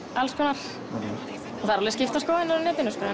það eru alveg skiptar skoðanir á netinu sko